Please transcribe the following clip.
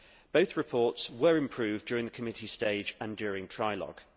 Both reports were improved during the committee stage and during trialogue.